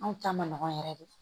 Anw ta ma nɔgɔn yɛrɛ de